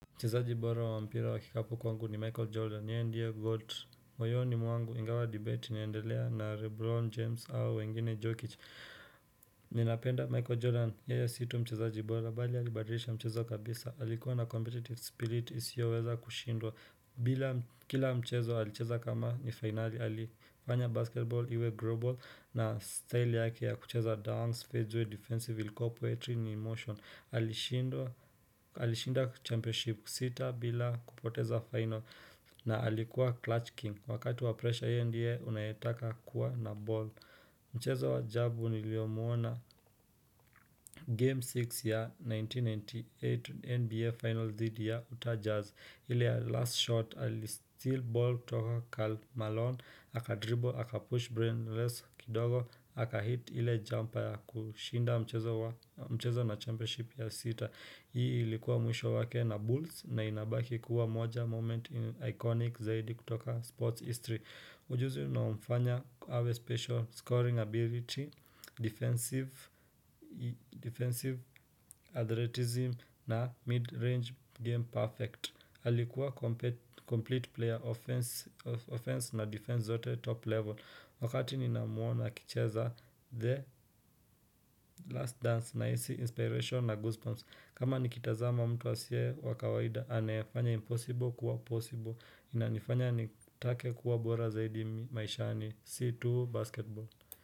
Mchezaji bora wa mpira wa kikapu kwangu ni Michael Jordan, yeye ndiye Goat. Moyoni mwangu ingawa debate inaendelea na lebron James au wengine Jokic. Ninapenda Michael Jordan, yeye si tu mchezaji bora, bali alibadilisha mchezo kabisa. Alikuwa na competitive spirit, isioweza kushindwa. Bila kila mchezo alicheza kama ni finali, alifanya basketball, iwe global na style yake ya kucheza dance, faceway, defensive, ilikua poetry in motion. Alishinda championship sita bila kupoteza final na alikuwa clutch king Wakati wa pressure yeye ndiye unayetaka kuwa na ball Mchezo wa ajabu niliomuona game 6 ya 1998 NBA final dhidi ya utah jazz ile ya last shot alisteal ball toka Karl Malone aka dribble, aka push brainless kidogo, aka hit ile jumper ya kushinda mchezo na championship ya sita Hii ilikuwa mwisho wake na bulls na inabaki kuwa moja moment ni iconic zaidi kutoka sports history Ujuzi uliomfanya kuhave a special scoring ability, defensive athleticism na mid-range game perfect Alikuwa complete player offense na defense zote top level Wakati ninamuona akicheza the last dance nahisi inspiration na goosebumps kama nikitazama mtu asiye wa kawaida, anayefanya impossible kuwa possible Inanifanya nitake kuwa bora zaidi maishani si tu basketball.